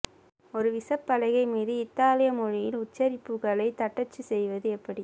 ஒரு விசைப்பலகை மீது இத்தாலிய மொழியில் உச்சரிப்புகளைத் தட்டச்சு செய்வது எப்படி